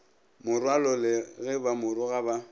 morwalole ge ba moroga ba